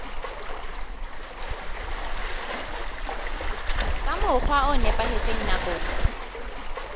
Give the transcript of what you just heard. ka mokgwa o nepahetseng nakong